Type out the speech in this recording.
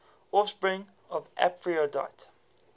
offspring of aphrodite